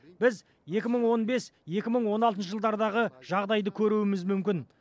біз екі мың он бес екі мың он алтыншы жылдардағы жағдайды көруіміз мүмкін